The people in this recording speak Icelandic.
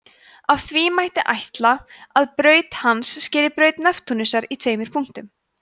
af því mætti ætla að braut hans skeri braut neptúnusar í tveimur punktum